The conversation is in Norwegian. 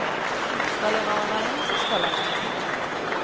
Skal han over veien, så skal han over veien.